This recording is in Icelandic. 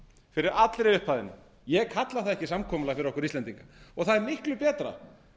fyrir allri upphæðinni ég kalla það ekki samkomulag fyrir okkur íslendinga það er miklu betra